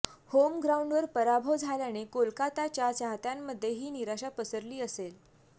home ग्राऊंडवर पराभव झाल्याने कोलकाताच्या चाहत्यांमध्ये ही निराशा पसरली असेल